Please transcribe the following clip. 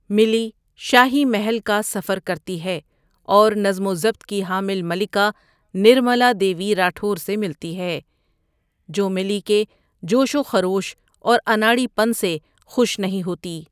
ملی شاہی محل کا سفر کرتی ہے اور نظم و ضبط کی حامل ملکہ نرملا دیوی راٹھور سے ملتی ہے، جو ملی کے جوش و خروش اور اناڑی پن سے خوش نہیں ہوتی۔